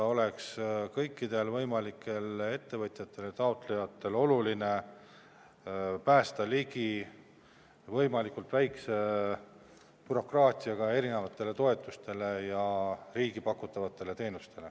Et kõikide võimalike ettevõtjate, taotlejate jaoks oleks oluline pääseda võimalikult väikse bürokraatiaga ligi erinevatele toetustele ja riigi pakutavatele teenustele.